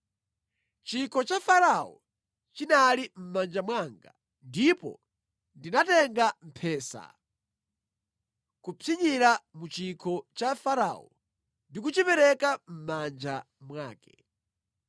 Chikho cha Farao chinali mʼmanja mwanga, ndipo ndinatenga mphesa, kupsinyira mu chikho cha Farao ndi kuchipereka mʼmanja mwake.”